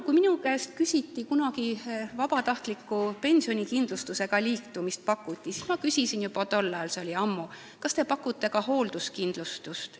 Kui minule kunagi pakuti vabatahtliku pensionikindlustusega liitumist, siis ma küsisin juba tollal, see oli ammu, kas nad pakuvad ka hoolduskindlustust.